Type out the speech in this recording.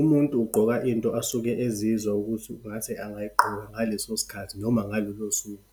Umuntu ugqoka into asuke ezizwa ukuthi ngathi angayigqoka ngaleso sikhathi, noma ngalolo suku.